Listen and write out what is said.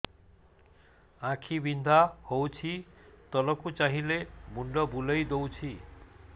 ଆଖି ବିନ୍ଧା ହଉଚି ତଳକୁ ଚାହିଁଲେ ମୁଣ୍ଡ ବୁଲେଇ ଦଉଛି